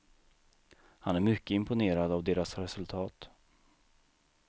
Han är mycket imponerad av deras resultat.